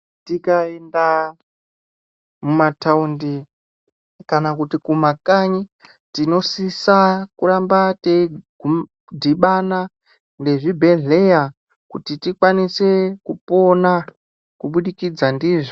Tikaenda mumatawundi, kana kuti kumakanyi, tinosisa kuramba teyidhibana nezvibhedhleya kuti tikwanise kupona, kubudikidza ndizvo.